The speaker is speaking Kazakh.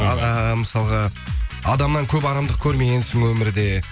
аха мысалғы адамнан көп арамдық көрмегенсің өмірде